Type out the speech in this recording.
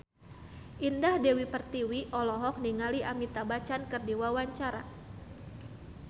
Indah Dewi Pertiwi olohok ningali Amitabh Bachchan keur diwawancara